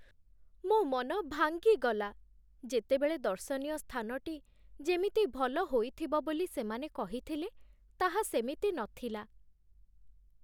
ମୋ ମନ ଭାଙ୍ଗିଗଲା, ଯେତେବେଳେ ଦର୍ଶନୀୟ ସ୍ଥାନଟି ଯେମିତି ଭଲ ହୋଇଥିବ ବୋଲି ସେମାନେ କହିଥିଲେ ତାହା ସେମିତି ନଥିଲା।